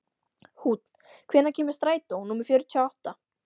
Húnn, hvenær kemur strætó númer fjörutíu og átta?